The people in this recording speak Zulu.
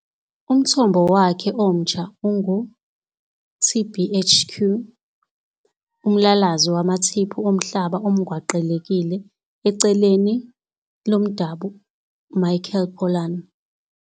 Umthombo wakhe omtsha ungu-TBHQ, umlalazi wamathiphu omhlaba omgwaqelekile eceleni lomdabu Michael Pollan.